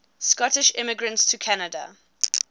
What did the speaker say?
scottish immigrants to canada